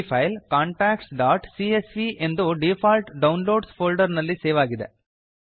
ಈ ಫೈಲ್ contactsಸಿಎಸ್ವಿ ಎಂದು ಡೀಫಾಲ್ಟ್ ಡೌನ್ಲೋಡ್ಸ್ ಫೋಲ್ಡರ್ ನಲ್ಲಿ ಸೇವ್ ಆಗಿದೆ